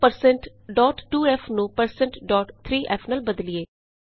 ਆਉ1602f ਨੂੰ1603f ਨਾਲ ਬਦਲੀਏ